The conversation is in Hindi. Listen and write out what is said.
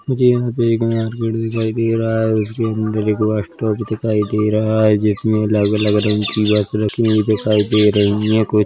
मुझे यहां पे एक नया गेट दिखाई दे रहा है उस के अन्दर एक बस स्टॉप दिखाई दे रहा है जिसमे अलग अलग रंग की बस रखी हुवी दिखाई दे रही है कोई--